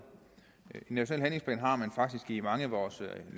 en national handlingsplan har man faktisk i mange af vores